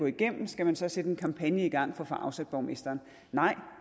igennem skal man så sætte en kampagne i gang for at få afsat borgmesteren nej